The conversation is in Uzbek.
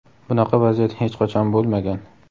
Bunaqa vaziyat hech qachon bo‘lmagan.